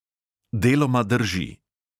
Deloma drži.